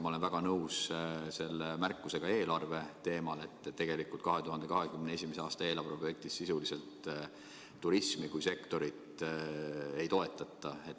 Ma olen väga nõus ka märkusega eelarve kohta, et tegelikult 2021. aasta eelarve projektis sisuliselt turismi kui sektorit ei toetata.